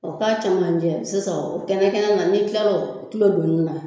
O k'a camancɛ sisan o kɛnɛ kɛnɛ na ni kilar'o kulo donni na